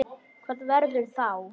Hvað verður þá?